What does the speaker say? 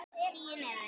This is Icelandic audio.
Tíu niður.